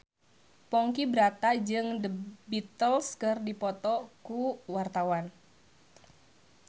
Ponky Brata jeung The Beatles keur dipoto ku wartawan